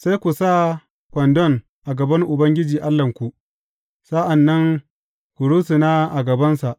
Sai ku sa kwandon a gaban Ubangiji Allahnku, sa’an nan ku rusuna a gabansa.